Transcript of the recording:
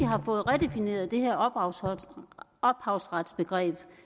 har fået redefineret det her ophavsretsbegreb